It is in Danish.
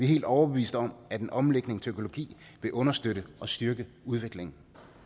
helt overbeviste om at en omlægning til økologi vil understøtte og styrke udviklingen